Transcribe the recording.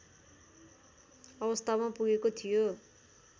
अवस्थामा पुगेको थियो